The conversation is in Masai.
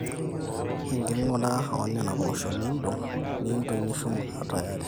enking'ura oonena poosho niindong, niintoi nishum aatayari